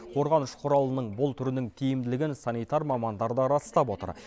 қорғаныш құралының бұл түрінің тиімділігін санитар мамандар да растап отыр